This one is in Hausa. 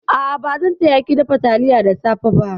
A'a, bazan taya ki dafa taliya da safe ba.